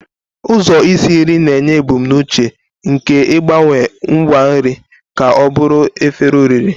Ụzọ isi nri na-enye ebumnuche nke ịgbanwe ngwa nri ka ọ bụrụ efere oriri.